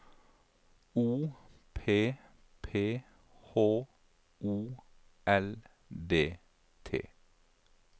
O P P H O L D T